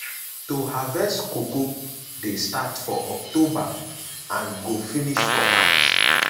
to harvest cocoa dey start for october and go finish for march.